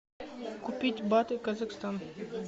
купить баты казахстан